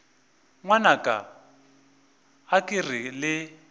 ngwanaka a ke re le